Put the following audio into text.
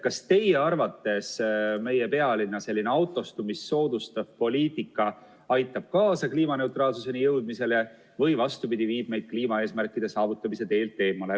Kas teie arvates meie pealinna selline autostumist soodustav poliitika aitab kaasa kliimaneutraalsuseni jõudmisele või vastupidi, viib meid kliimaeesmärkide saavutamise teelt eemale?